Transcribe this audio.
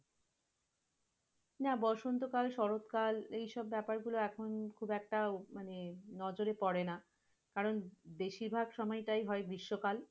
না বসন্তকাল শরৎকাল এইসব ব্যাপারগুলো এখন খুব একটা মানে, নজরে পড়েনা কারণ বেশিরভাগ সময়টাই হয় গৃষ্মকাল।